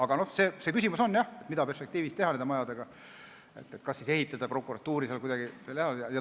Aga see küsimus on jah, mida perspektiivis teha nende majadega, kas ehitada prokuratuurile midagi veel eraldi.